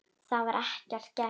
Það var ekki gert.